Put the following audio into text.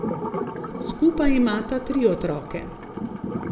Skupaj imata tri otroke.